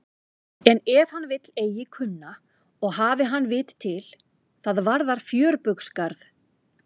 En ef hann vill eigi kunna og hafi hann vit til, það varðar fjörbaugsgarð.